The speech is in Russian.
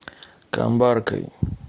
камбаркой